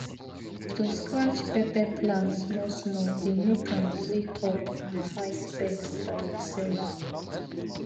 to scratch pepper plant small small dey make am wake up and fight pest by itself